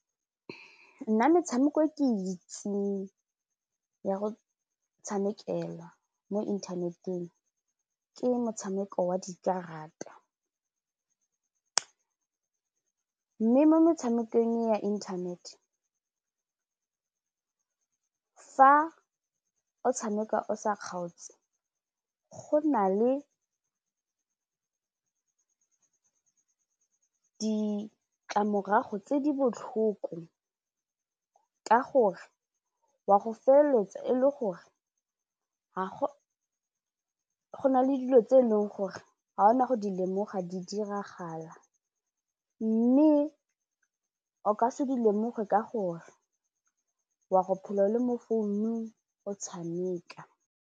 Nna metshameko e ke e itseng ya go tshamekela mo inthaneteng ke motshameko wa dikarata mme mo metshamekong ya internet, fa o tshameka o sa kgaotse go na le ditlamorago tse di botlhoko ka gore wa go feleletsa e le gore go na le dilo tse e leng gore ga ona go di lemoga di diragala mme o ka se di lemoge ka gore wa go phela o le mo founung o tshameka.